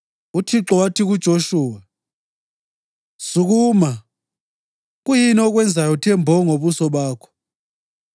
UThixo wathi kuJoshuwa, “Sukuma. Kuyini okwenzayo uthe mbo ngobuso bakho?